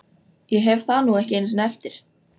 Ég hef það nú ekki einu sinni eftir